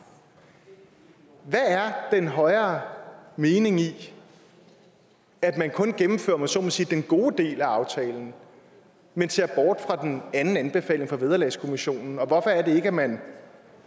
hvad er den højere mening i at man kun gennemfører om jeg så må sige den gode del af aftalen men ser bort fra den anden anbefaling fra vederlagskommissionen og hvorfor er det ikke at man